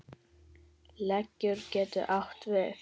Leggur getur átt við